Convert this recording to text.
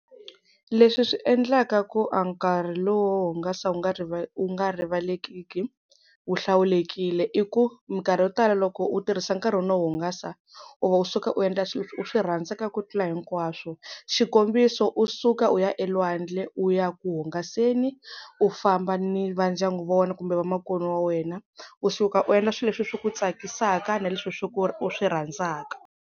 Leswi swi endlaka ku a nkarhi lowu wo hungasa wu nga wu nga rivalekiki wu hlawulekile, i ku minkarhi yo tala loko u tirhisa nkarhi wa wena wo hungasa u va u suka u endla swilo leswi u swi rhandzaka ku tlula hinkwaswo. Xikombiso u suka u ya elwandle u ya ku hungaseni u famba ni va ndyangu wa wena kumbe vamakwenu wa wena, u suka u endla swilo leswi ku tsakisaka na leswi u swi rhandzaka.